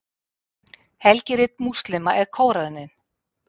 helgirit múslíma er kóraninn